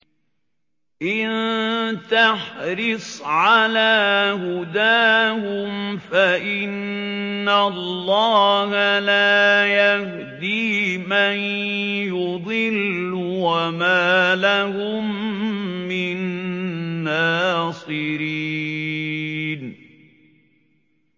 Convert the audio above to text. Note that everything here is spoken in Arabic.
إِن تَحْرِصْ عَلَىٰ هُدَاهُمْ فَإِنَّ اللَّهَ لَا يَهْدِي مَن يُضِلُّ ۖ وَمَا لَهُم مِّن نَّاصِرِينَ